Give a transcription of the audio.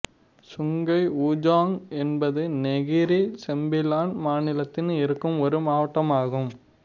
Sungai Ujong என்பது Negeri Sembilan மாநிலத்தில் இருக்கும் ஒரு மாவட்டம் ஆகும்